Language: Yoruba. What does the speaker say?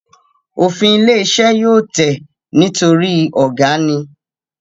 Òfin ilé iṣẹ́ yóò tẹ̀ nítorí ọ̀gá ni